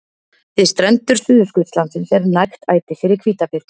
Við strendur Suðurskautslandsins er nægt æti fyrir hvítabirni.